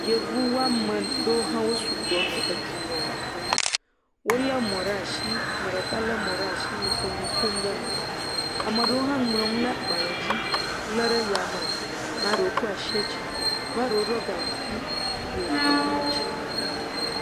Yevu ame aɖewo ha sugbɔ nɔ dunya hem wole mɔ ɖe asi ame ɖeka le mɔ ɖe asi nuƒom ɖe eme ame aɖewo ha ŋlɔ nu ɖe agbalẽ dzi le ɖe yame ame aɖewo kɔ asi dzi ame aɖewo ɖɔ ganku le mɔdzi